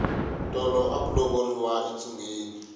tolo aku lovoriwa entsungeni